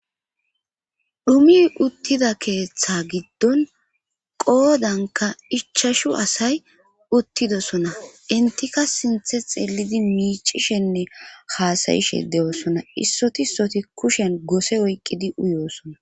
Dhumi uttida keeththa giddon qoodanka ichashu asay uttidosona intika sinthe xeelidi miicishenne haasayishe de7oosona issotisoti kushen gose oyqqidi uyoosona.